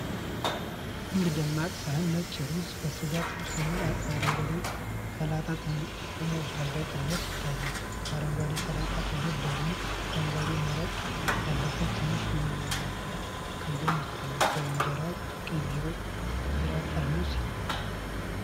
አንድ ደማቅ ሳህን ነጭ ሩዝ፣ በስጋ ጥብስ እና በአረንጓዴ ሰላጣ ተሞልቶ በቅርበት ይታያል። ከአረንጓዴው ሰላጣ አጠገብ ደግሞ፣ አረንጓዴ መረቅ ያለበት ትንሽ ኩባያ ከጎኑ ይታያል። ከበስተጀርባም የቀይ ቢራ ጠርሙስ ተቀምጧል።